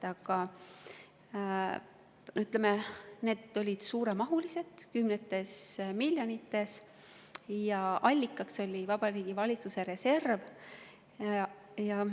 Aga need olid suuremahulised, kümnetes miljonites, ja allikaks oli Vabariigi Valitsuse reserv.